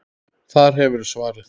Þar hefurðu svarið.